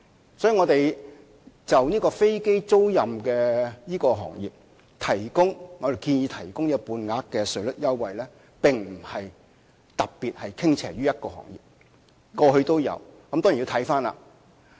因此，我們建議為飛機租賃行業提供半額稅率優惠，並非是特別向某個行業傾斜，過去亦有先例。